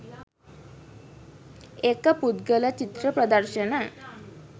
ඒක පුද්ගල චිත්‍ර ප්‍රදර්ශන